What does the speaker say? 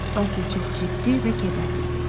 Basil çox ciddi və kədərli idi.